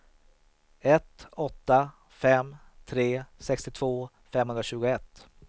ett åtta fem tre sextiotvå femhundratjugoett